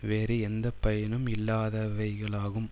வேறு எந்தப்பயனும் இல்லாதவைகளாகும்